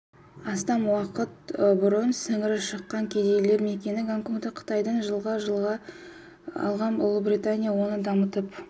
астам уақыт бұрын сіңірі шыққан кедейлер мекені гонконгты қытайдан жылға жалға алған ұлыбритания оны дамытып